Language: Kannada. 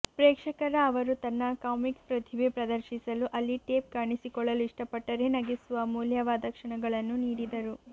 ಪ್ರೇಕ್ಷಕರ ಅವರು ತನ್ನ ಕಾಮಿಕ್ ಪ್ರತಿಭೆ ಪ್ರದರ್ಶಿಸಲು ಅಲ್ಲಿ ಟೇಪ್ ಕಾಣಿಸಿಕೊಳ್ಳಲು ಇಷ್ಟಪಟ್ಟರೆ ನಗಿಸುವ ಅಮೂಲ್ಯವಾದ ಕ್ಷಣಗಳನ್ನು ನೀಡಿದರು